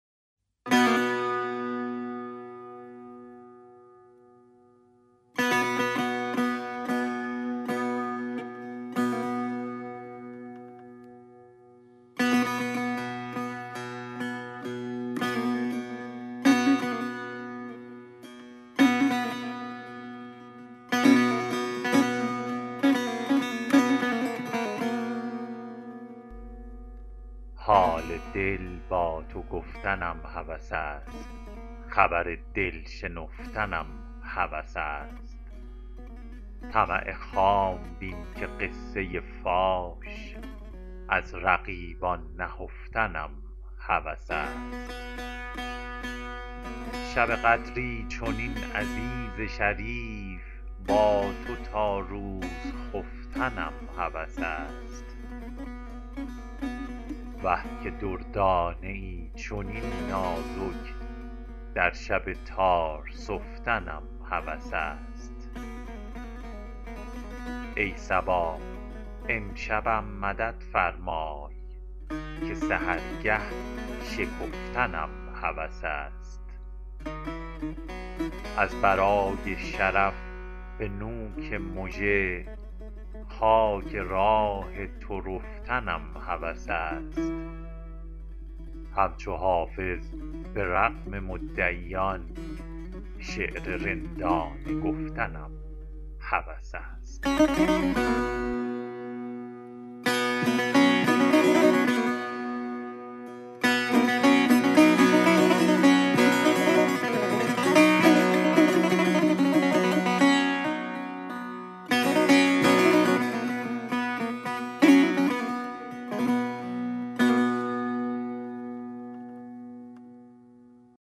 حال دل با تو گفتنم هوس است خبر دل شنفتنم هوس است طمع خام بین که قصه فاش از رقیبان نهفتنم هوس است شب قدری چنین عزیز شریف با تو تا روز خفتنم هوس است وه که دردانه ای چنین نازک در شب تار سفتنم هوس است ای صبا امشبم مدد فرمای که سحرگه شکفتنم هوس است از برای شرف به نوک مژه خاک راه تو رفتنم هوس است همچو حافظ به رغم مدعیان شعر رندانه گفتنم هوس است